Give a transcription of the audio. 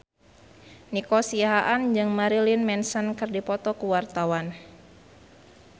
Nico Siahaan jeung Marilyn Manson keur dipoto ku wartawan